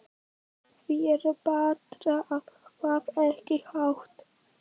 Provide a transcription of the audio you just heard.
Því er betra að hafa ekki hátt.